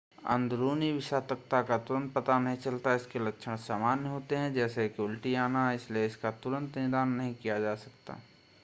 अंदरूनी विषाक्तता का तुरंत पता नहीं चलता है इसके लक्षण सामान्य होते हैं जैसे कि उल्टी आना इसलिए इसका तुरंत निदान नहीं किया जा सकता है